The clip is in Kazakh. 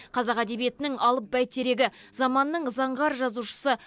қазақ әдебиетінің алып бәйтерегі заманның заңғар жазушысы